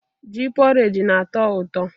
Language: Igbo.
Ji poreji na-atọ ụtọ.